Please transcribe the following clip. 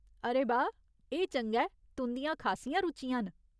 अरे बाह्, एह् चंगा ऐ, तुं'दियां खासियां रुचियां न।